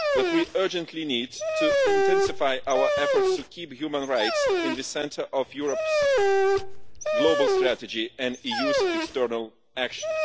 We urgently need to intensify our efforts to keep human rights at the centre of Europe's Global Strategy and the EU's external action.